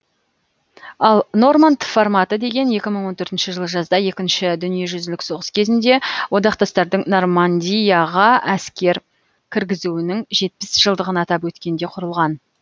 ал норманд форматы деген екі мың он төртінші жылы жазда екінші дүниежүзілік соғыс кезінде одақтастардың нормандияға әскер кіргізуінің жетпіс жылдығын атап өткенде құрылған